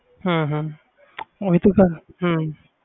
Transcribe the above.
ਹੂੰਹੂੰ ਓਹੀ ਤੇ ਗੱਲ ਆ